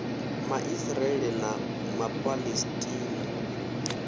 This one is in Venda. ma israele na ma palesitina